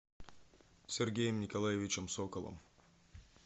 сергеем николаевичем соколом